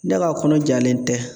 Ne ka kɔnɔ jalen tɛ